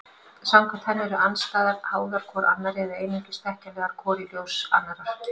Samkvæmt henni eru andstæður háðar hvor annarri eða einungis þekkjanlegar hvor í ljós annarrar.